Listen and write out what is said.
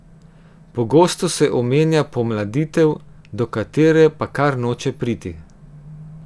Pogosto se omenja pomladitev, do katere pa kar noče priti.